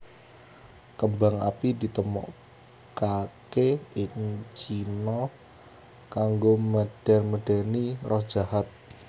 Kembang api ditemokaké ing Cina kanggo medén medéni roh jahat